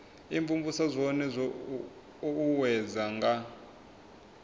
imvumvusa zwone zwo uuwedzwa nga